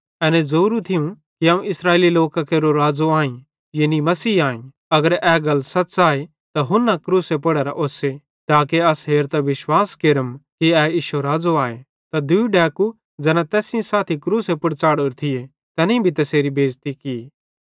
ए ज़ोरो थियो कि अवं इस्राएल लोकां केरो राज़ो आईं यानी मसीह आईं अगर ए गल सच़ आए त हुन्ना क्रूसे पुड़ेरां ओस्से ताके अस हेरतां विश्वास केरम कि ए इश्शो राज़ो आए त दूई डैकू ज़ैना तैस सेइं साथी क्रूसे पुड़ च़ाढ़ोरे थिये तैनेईं भी तैसेरी बेज़ती की